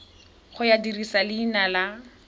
ya go dirisa leina la